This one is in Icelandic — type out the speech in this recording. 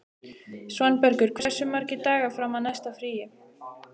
Svanbergur, hversu margir dagar fram að næsta fríi?